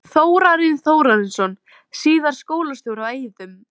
Þórarinn Þórarinsson, síðar skólastjóri á Eiðum.